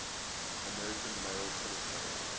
american male tennis players